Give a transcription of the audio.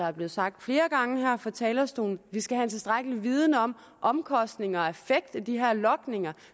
er blevet sagt flere gange her fra talerstolen vi skal have en tilstrækkelig viden om omkostninger og effekt af de her logninger